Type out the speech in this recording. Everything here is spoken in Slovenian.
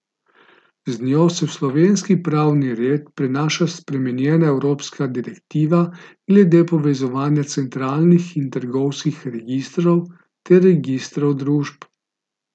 Z njo se v slovenski pravni red prenaša spremenjena evropska direktiva glede povezovanja centralnih in trgovinskih registrov ter registrov družb.